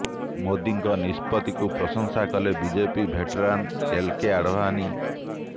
ମୋଦିଙ୍କ ନିଷ୍ପତ୍ତିକୁ ପ୍ରଶଂସା କଲେ BJP veteran L K Advani